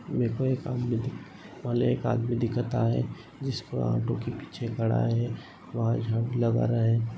मेरेको एक आदमी मला एक आदमी दिखत आहे. जिसको ऑटो के पीछे खड़ा है। वह झाड़ू लगा रहा है।